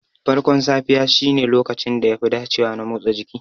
Farkon safiya shine lokacin da yafi dacewa na motsa jiki.